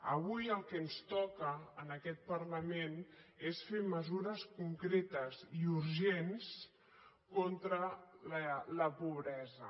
avui el que ens toca en aquest parlament és fer mesures concretes i urgents contra la pobresa